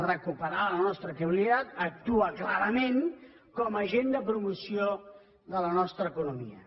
recuperar la nostra credibilitat actua clarament com a agent de promoció de la nostra economia